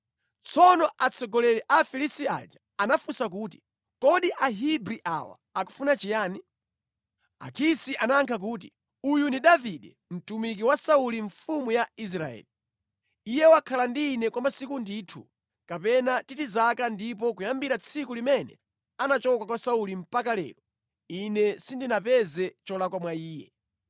Tsono atsogoleri a Afilisti aja anafunsa kuti, “Kodi Ahebri awa akufuna chiyani?” Akisi anayankha kuti, “Uyu ndi Davide, mtumiki wa Sauli mfumu ya Israeli. Iye wakhala ndi ine kwa masiku ndithu, kapena titi zaka ndipo kuyambira tsiku limene anachoka kwa Sauli mpaka lero, ine sindinapeze cholakwa mwa iye.”